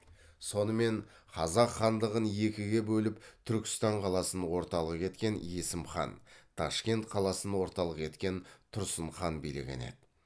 сонымен қазақ хандығын екіге бөліп түркістан қаласын орталық еткен есім хан ташкент қаласын орталық еткен тұрсын хан билеген еді